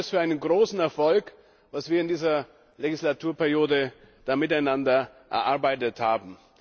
Ich halte das für einen großen Erfolg, was wir in dieser Legislaturperiode miteinander erarbeitet haben.